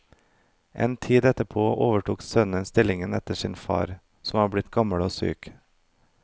En tid etterpå overtok sønnen stillingen etter sin far, som var blitt gammel og syk.